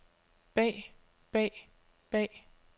bag bag bag